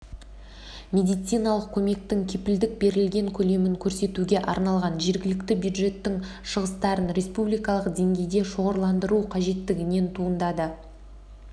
медициналық көмектің кепілдік берілген көлемін көрсетуге арналған жергілікті бюджеттің шығыстарын республикалық деңгейде шоғырландыру қажеттігінен туындады